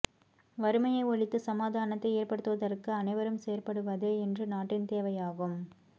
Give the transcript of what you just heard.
வறுமையை ஒழித்து சமாதானத்தை ஏற்படுத்துவதற்கு அனைவரும் செயற்படுவதே இன்று நாட்டின் தேவையாகும்